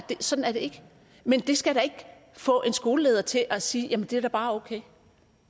sådan er det ikke men det skal da ikke få en skoleleder til at sige at det bare er okay